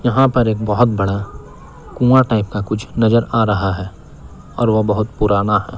यहां पर एक बहोत बड़ा कुँवा टाइप का कुछ नजर आ रहा है और वो बहोत पुराना है।